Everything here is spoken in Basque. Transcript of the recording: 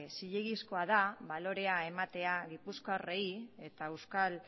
zilegizkoa da balorea ematea gipuzkoarrei eta euskal